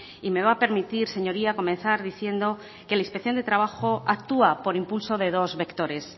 y me va a permitir señoría comenzar diciendo que la inspección de trabajo actúa por impulso de dos vectores